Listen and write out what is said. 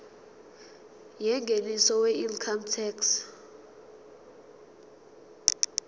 yengeniso weincome tax